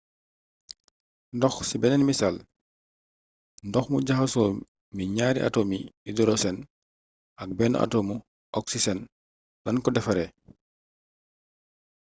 ndox ci beneen misaal ndox mu jaxasoo mi ñaari atomi idorosen aj benn atomu oksisen lañ ko defaree